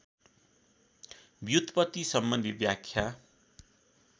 व्युत्पत्ति सम्बन्धी व्याख्या